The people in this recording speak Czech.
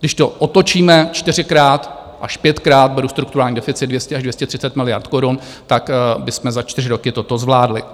Když to otočíme čtyřikrát až pětkrát, beru strukturální deficit 200 až 230 miliard korun, tak bychom za čtyři roky toto zvládli.